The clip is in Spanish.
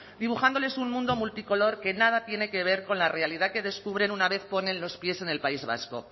dibujándoles un mundo multicolor que nada tiene que ver con la realidad que descubren una vez ponen los pies en el país vasco